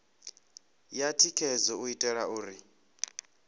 ya thikhedzo u itela uri